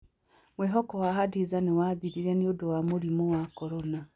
Mwĩhoko wa Khadiza nĩ wathirire nĩ ũndũ wa mũrimũ wa corona.